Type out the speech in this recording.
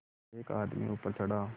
एक आदमी ऊपर चढ़ा